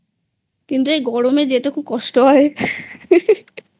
কিন্তু এই গরমে যেতে খুব কষ্ট হয়